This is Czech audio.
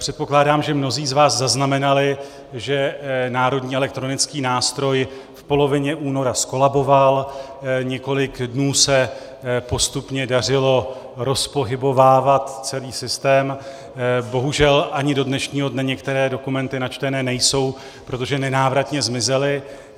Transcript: Předpokládám, že mnozí z vás zaznamenali, že Národní elektronický nástroj v polovině února zkolaboval, několik dnů se postupně dařilo rozpohybovávat celý systém, bohužel ani do dnešního dne některé dokumenty načtené nejsou, protože nenávratně zmizely.